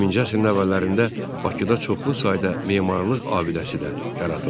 20-ci əsrin əvvəllərində Bakıda çoxlu sayda memarlıq abidəsi də yaradıldı.